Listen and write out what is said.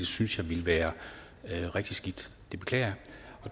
synes ville være rigtig skidt det beklager